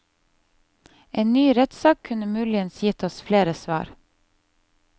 En ny rettssak kunne muligens gitt oss flere svar.